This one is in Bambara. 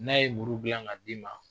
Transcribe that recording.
N'a ye muru dilan ka d'i ma